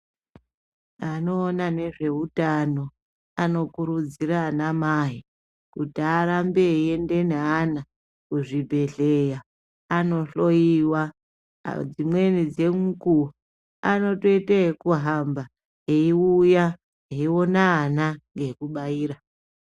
Anoona nezvehutano anokudziridzira ana mai kuti arambe eienda neana kuzvibhedhlera andohloiwa dzimweni dzemukuwo anotoita yekuhamba eiuya eiona ana ngekubaira.